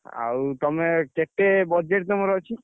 ଆଉ ତମେ କେତେ budget ତମର ଅଛି?